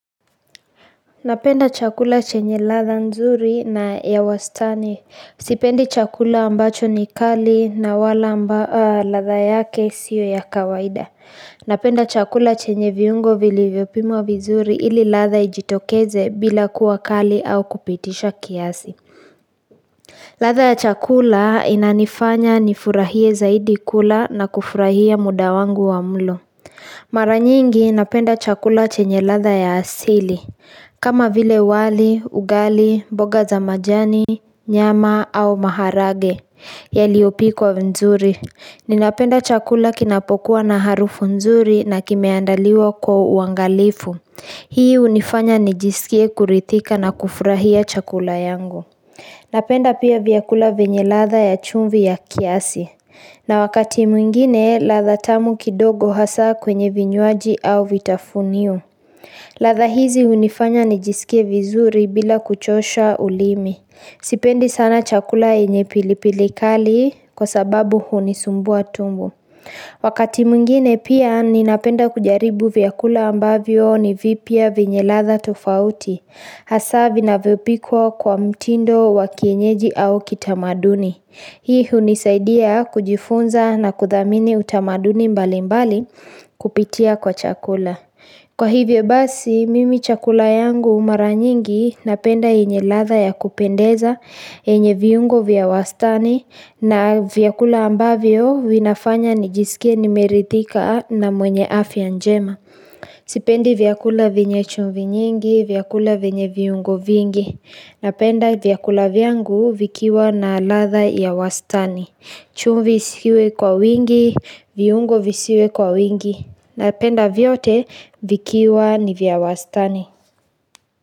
Napenda chakula chenye ladha nzuri na ya wastani Sipendi chakula ambacho ni kali na wala ambayo ladha yake sio ya kawaida Napenda chakula chenye viungo vilivyopimwa vizuri ili latha ijitokeze bila kuwa kali au kupitisha kiasi ladha ya chakula inanifanya nifurahie zaidi kula na kufurahia muda wangu wa mlo Maranyingi napenda chakula chenye ladha ya asili kama vile wali, ugali, boga za majani, nyama au maharage, yaliyopikwa nzuri. Ninapenda chakula kinapokuwa na harufu nzuri na kimeandaliwa kwa uangalifu. Hii hunifanya nijisikie kurithika na kufurahia chakula yangu. Napenda pia vyakula venye ladha ya chumvi ya kiasi. Na wakati mwingine, ladha tamu kidogo hasaa kwenye vinywaji au vitafunio. Ladha hizi hunifanya nijisike vizuri bila kuchosha ulimi. Sipendi sana chakula yenye pilipili kali kwa sababu hunisumbua tumbo. Wakati mwingine pia ninapenda kujaribu vyakula ambavyo ni vipya venye ladha tofauti. Hasaa vinavyopikwa kwa mtindo wa kienyeji au kitamaduni. Hii hunisaidia kujifunza na kuthamini utamaduni mbali mbali kupitia kwa chakula. Kwa hivyo basi, mimi chakula yangu mara nyingi napenda yenye ladha ya kupendeza yenye viungo vya wastani na vyakula ambavyo vinafanya nijisikia nimerithika na mwenye afya njema. Sipendi vyakula venye chumvi nyingi, vyakula venye viungo vingi. Napenda vyakula vyangu vikiwa na ladha ya wastani. Chumvi isiwe kwa wingi, viungo visiwe kwa wingi. Na penda vyote vikiwa ni vya wastani.